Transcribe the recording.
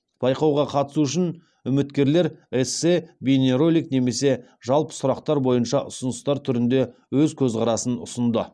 байқауға қатысу үшін үміткерлер эссе бейнеролик немесе жалпы сұрақтар бойынша ұсыныстар түрінде өз көзқарасын ұсынды